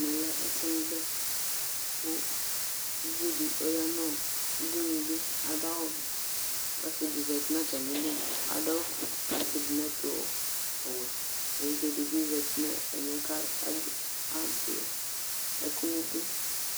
ɛmɛ lɛ ɛsɛmòbɛ ko uvi di ɔya no udunuli ado awu vɛ k'ɔse di zati n'atami li ado awu fue ko atsi do n'ɛto ɔwɛ evidze di bi zati n'ɛmɛ ko ado ɛkò n'idu